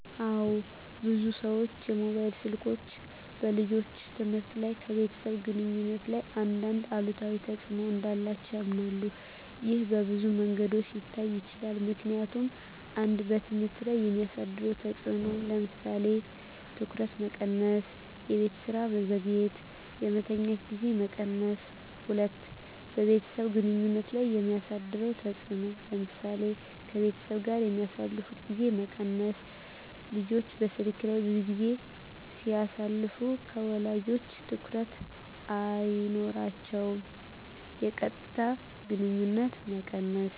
አዎ፣ ብዙ ሰዎች ሞባይል ስልኮች በልጆች ትምህርት እና ከቤተሰብ ግንኙነት ላይ አንዳንድ አሉታዊ ተጽዕኖ እንዳላቸው ያምናሉ። ይህ በብዙ መንገዶች ሊታይ ይችላል፦ ምክንያቱም 1. በትምህርት ላይ የሚያሳድረው ተጽዕኖ ለምሳሌ:- ትኩረት መቀነስ -የቤት ስራ መዘግየት -የመተኛት ጊዜ መቀነስ 2. በቤተሰብ ግንኙነት ላይ የሚያሳድረው ተጽዕኖ ለምሳሌ :-ከቤተሰብ ጋር የሚያሳልፉት ጊዜ መቀነስ – ልጆች በስልክ ላይ ብዙ ጊዜ ሲያሳልፉ ከወላጆቻ ትኩረት አይኖራቸውም። -የቀጥታ ግንኙነት መቀነስ